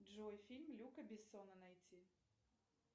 джой фильм люка бессона найти